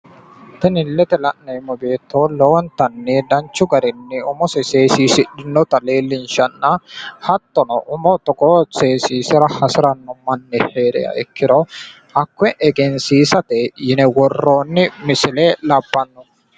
Tini la'neemmo beetto seenu umu seensili mine kulate biinfilese xawisatena hattoni wolootuno tene basera daaye umonsa seesisirara qumi assinanni hee'noonni